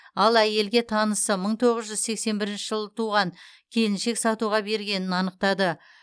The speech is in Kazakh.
ал әйелге танысы мың тоғыз жүз сексен бірінші жылы туған келіншек сатуға бергенін анықтады